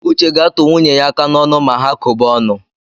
Uche ga-atụ nwunye ya aka n’onụ ma ha kọba ọnụ